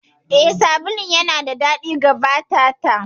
Eh, sabulun yana da daɗi ga fata ta.